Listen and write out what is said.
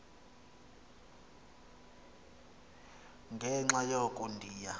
ngenxa yoko ndiya